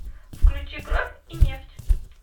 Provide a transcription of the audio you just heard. включи кровь и нефть